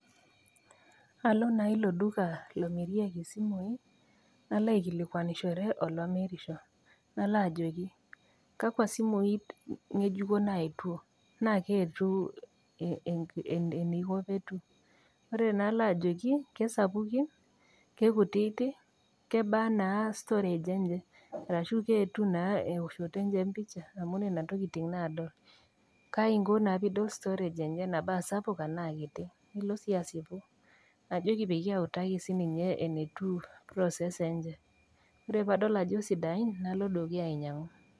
Alo naa ilo duka lomirieki isimui, nalo aikilikwanishore olomirusho, nalo ajoki, kakwa simui ng'ejuko network. Naa Kai aiko pee atum, ore naa nalo ajoki, ke sapukin, ke kutiiti, kebaa naa storage enye ashu kaji etiu naa eoshoto enye empisha, amu Nena naa nalo adol, Kai inko naa piidol storage enye tanaa sapuk anaa kiti. Nilo sii asiu ajoki peyie autaki siininye enetiu processor enye. Ore pee adol ajo sidain , nalo dukuya ainyang'u.